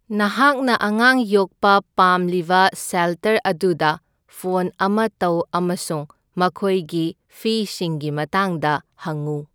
ꯅꯍꯥꯛꯅ ꯑꯉꯥꯡ ꯌꯣꯛꯄ ꯄꯥꯝꯂꯤꯕ ꯁꯦꯜꯇꯔ ꯑꯗꯨꯗ ꯐꯣꯟ ꯑꯃ ꯇꯧ ꯑꯃꯁꯨꯡ ꯃꯈꯣꯏꯒꯤ ꯐꯤꯁꯤꯡꯒꯤ ꯃꯇꯥꯡꯗ ꯍꯪꯎ꯫